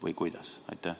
Või kuidas?